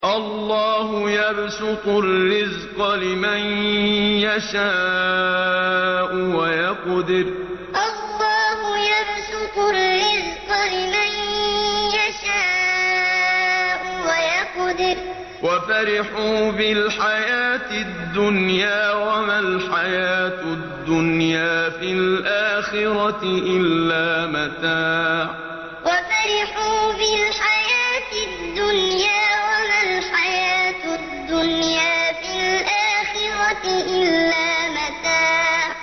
اللَّهُ يَبْسُطُ الرِّزْقَ لِمَن يَشَاءُ وَيَقْدِرُ ۚ وَفَرِحُوا بِالْحَيَاةِ الدُّنْيَا وَمَا الْحَيَاةُ الدُّنْيَا فِي الْآخِرَةِ إِلَّا مَتَاعٌ اللَّهُ يَبْسُطُ الرِّزْقَ لِمَن يَشَاءُ وَيَقْدِرُ ۚ وَفَرِحُوا بِالْحَيَاةِ الدُّنْيَا وَمَا الْحَيَاةُ الدُّنْيَا فِي الْآخِرَةِ إِلَّا مَتَاعٌ